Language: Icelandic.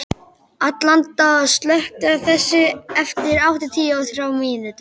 Alanta, slökktu á þessu eftir áttatíu og þrjár mínútur.